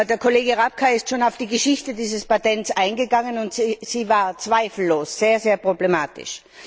Der Kollege Rapkay ist schon auf die Geschichte dieses Patents eingegangen, und sie war zweifellos sehr, sehr problematisch.